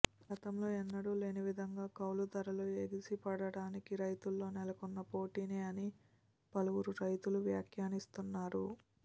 గతంలో ఎన్నడూ లేని విధంగా కౌలు ధరలు ఎగిసిపడటానికి రైతుల్లో నెలకొన్న పోటీనే అని పలువురు రైతులు వ్యాక్యానిస్తున్నారు